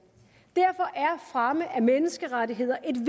derfor er fremme af menneskerettigheder et